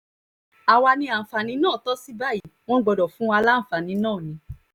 àwa ní àǹfààní náà tó sì báyìí wọ́n gbọ́dọ̀ fún wa láǹfààní náà ni